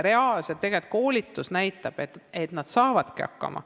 Koolitus näitab reaalselt, et nad saavadki hakkama.